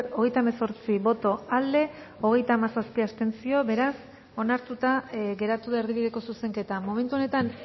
hogeita hemezortzi boto aldekoa hogeita hamazazpi abstentzio beraz onartuta geratu da erdibideko zuzenketa momentu honetan